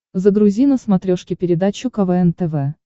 загрузи на смотрешке передачу квн тв